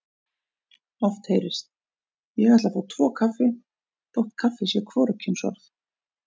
Oft heyrist: Ég ætla að fá tvo kaffi þótt kaffi sé hvorugkynsorð.